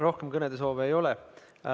Rohkem kõnesoove ei ole.